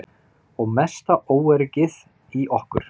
Og mesta óöryggið í okkur.